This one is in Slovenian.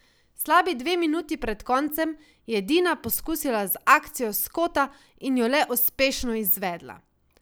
Slabi dve minuti pred koncem je Dina pokusila z akcijo s kota in jo le uspešno izvedla.